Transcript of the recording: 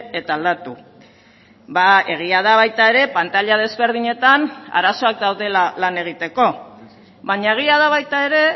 eta aldatu egia da baita ere pantaila ezberdinetan arazoak daudela lana egiteko baina egia da baita ere